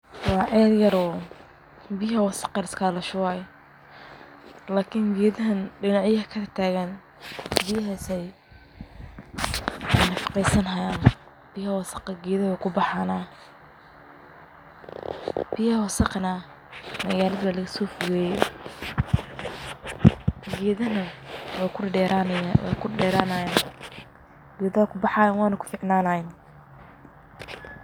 Wa ceel yar oo biyaha wasaqda laiskagashubo lakin gedahan biyaha ayey kubaxayan oo kunafaqeysanayan biyaha wasaqdana magalada walasofogeye gedaha wey kubaxayan oo kuderayan.